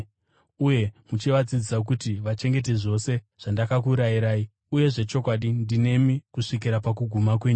uye muchivadzidzisa kuti vachengete zvose zvandakakurayirai. Uye zvechokwadi ndinemi kusvikira pakuguma kwenyika.”